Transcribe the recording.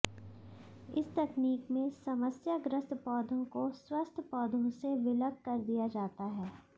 इस तकनीक में समस्याग्रस्त पौधों को स्वस्थ पौधों से विलग कर दिया जाता है